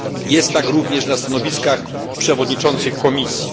Jest tak również na stanowiskach przewodniczących komisji.